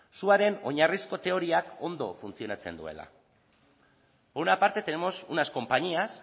suaren oinarrizko teoria ondo funtzionatzen duela por una parte tenemos unas compañías